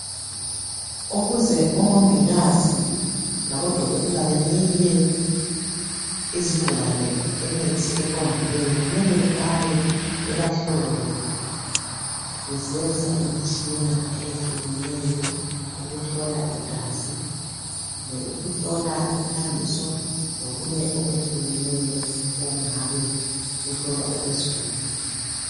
Ukuze omongikazi labodokotela benike izigulane imithi eqondileyo kumele beqale bebahlole besebenzisa imtshina eyehlukeneyo ukuhlola igazi, mbe ukuhlola imthambiso lokunye okwehlukeneyo okungabe kuhlolwa okwezigulan.